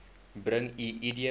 bring u idboek